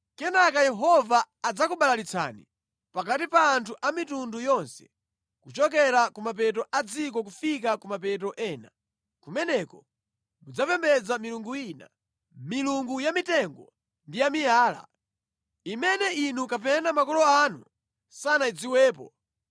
Kenaka Yehova adzakubalalitsani pakati pa anthu a mitundu yonse, kuchokera ku mapeto a dziko kufika ku mapeto ena. Kumeneko mudzapembedza milungu ina, milungu ya mitengo ndi ya miyala, imene inu eni kapena makolo anu sanayidziwepo.